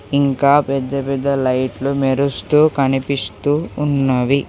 ఇంకా పెద్ద పెద్ద లైట్లు మెరుస్తూ కనిపిస్తూ ఉన్నవి.